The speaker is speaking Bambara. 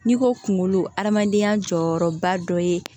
N'i ko kunkolo hadamadenya jɔyɔrɔba dɔ ye